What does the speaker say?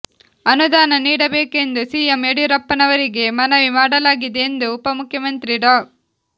ಅನುದಾನ ನೀಡಬೇಕೆಂದು ಸಿಎಂ ಯಡಿಯೂರಪ್ಪನವರಿಗೆ ಮನವಿ ಮಾಡಲಾಗಿದೆ ಎಂದು ಉಪಮುಖ್ಯಮಂತ್ರಿ ಡಾ